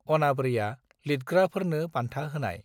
आनाब्रैया लितग्राफेारनो बान्था होनाय